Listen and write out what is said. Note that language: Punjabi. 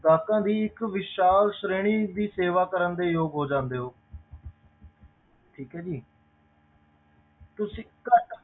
ਗਾਹਕਾਂ ਦੀ ਇੱਕ ਵਿਸ਼ਾਲ ਸ਼੍ਰੇਣੀ ਦੀ ਸੇਵਾ ਕਰਨ ਦੇ ਯੋਗ ਹੋ ਜਾਂਦੇ ਹੋ ਠੀਕ ਹੈ ਜੀ ਤੁਸੀਂ ਘੱਟ